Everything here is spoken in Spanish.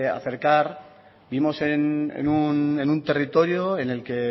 acercar vivimos en un territorio en el que